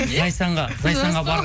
зайсанға зайсанға